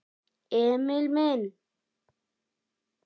Emil minn!